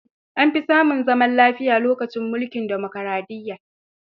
An fi samu zaman lafiya lokacin mulkin dimokaraɗiyya.